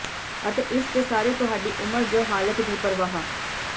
ਅਤੇ ਇਸ ਦੇ ਸਾਰੇ ਤੁਹਾਡੀ ਉਮਰ ਜ ਹਾਲਤ ਦੀ ਪਰਵਾਹ